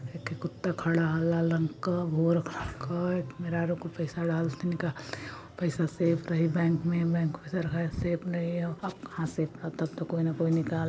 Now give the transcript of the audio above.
एक ख कुत्ता खड़ा ह लाल रंग क ेल मेहरारू कुल पैसा डाल थ निकाल थ पइसा सेफ रही बैंक में बैंक में और कहाँ सेफ रही अब तोह कोई न कोई निकाल --